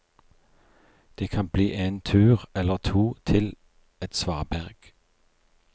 Det kan bli en tur eller to til et svaberg.